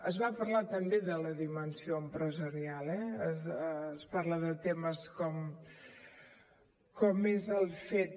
es va parlar també de la dimensió empresarial eh es parla de temes com és el fet